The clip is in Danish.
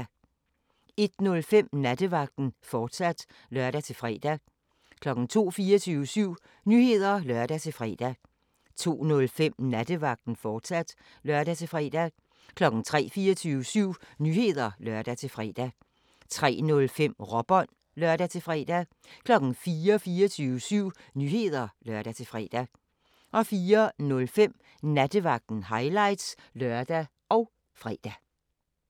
01:05: Nattevagten, fortsat (lør-fre) 02:00: 24syv Nyheder (lør-fre) 02:05: Nattevagten, fortsat (lør-fre) 03:00: 24syv Nyheder (lør-fre) 03:05: Råbånd (lør-fre) 04:00: 24syv Nyheder (lør-fre) 04:05: Nattevagten – highlights (lør og fre)